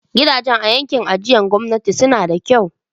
Gidajen a yankin ajiyar gwamnati suna da kyau.